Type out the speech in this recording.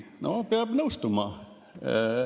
" No peab nõustuma.